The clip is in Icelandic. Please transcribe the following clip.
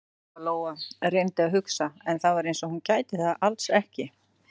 Lóa-Lóa reyndi að hugsa, en það var eins og hún gæti það alls ekki.